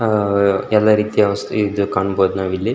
ಆಹ್ಹ್ ಎಲ್ಲ ರೀತಿಯ ವಸ್ತು ಇದು ಕಾಣಬಹುದು ನಾವು ಇಲ್ಲಿ --